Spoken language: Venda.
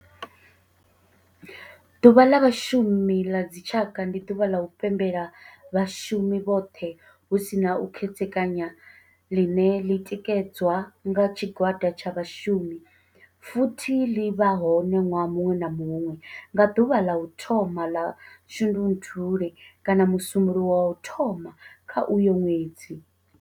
Ḓuvha la Vhashumi la dzi tshaka, ndi duvha la u pembela vhashumi vhothe hu si na u khethekanya line li tikedzwa nga tshigwada tsha vhashumi futhi li vha hone nwaha munwe na munwe nga duvha la u thoma la Shundunthule kana musumbulowo wa u thoma kha uyo nwedzi.